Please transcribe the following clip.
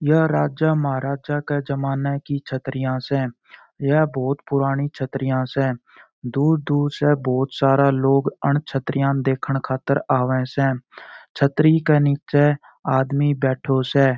यह राजा महाराजा का जमाना की छत्रिया से यह बहुत पुराणी छत्रिया से दूर दूर से बहुत सारा लोग अन छत्रिया देखन खातर आवे से छतरी के निचे आदमी बैठो स।